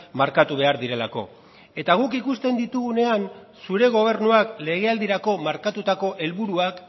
markatu behar direlako eta guk ikusten ditugunean zure gobernuak legealdirako markatutako helburuak